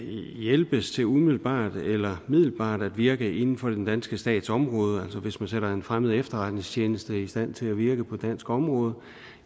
hjælpes til umiddelbart eller middelbart at virke inden for den danske stats område altså hvis man sætter en fremmed efterretningstjeneste i stand til at virke på dansk område